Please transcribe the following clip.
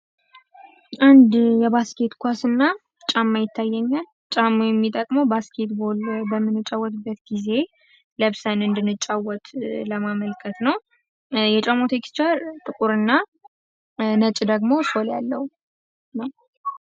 አንድ የባስኬት ኳስ እና ጫማ ይታየኛል ጫማው የሚጠቅመው ባስኬት ቦል በምንጫወትበት ጊዜ ለብሰን እንድንጫወት ለማመልከት ነው። የጫማው ቴክስቸር ጥቁር እና ነጭ ደግሞ ሶል ያለው ነው።